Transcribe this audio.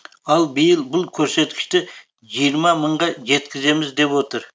ал биыл бұл көрсеткішті жиырма мыңға жеткіземіз деп отыр